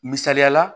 Misaliyala